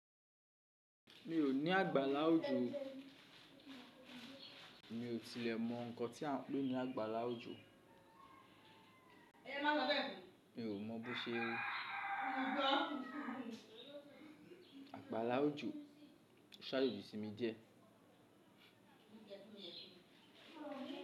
Mi ò ní àgbàlá ojò. Mi ò tilẹ̀ mọ ǹkan tí à ń pè ní àgbàlá ojò. Mi ò mọ bó ṣe ẹ. Àgbàlá ojò ṣáájoji sí mi die.